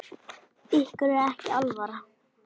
Ykkur er ekki alvara!